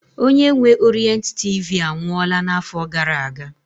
Onye nwe Orient TV anwụọla na-afọ gara-aga.